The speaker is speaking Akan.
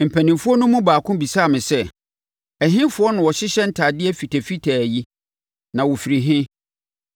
Mpanimfoɔ no mu baako bisaa me sɛ, “Ɛhefoɔ na wɔhyehyɛ ntadeɛ fitafitaa yi, na wɔfiri he?”